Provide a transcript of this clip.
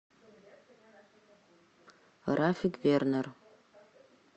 рафик вернер